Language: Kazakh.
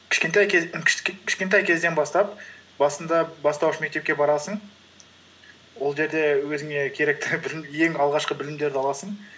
кішкентай кезден бастап басында бастауыш мектепке барасың ол жерде өзіңе керекті ең алғашқы білімдерді аласың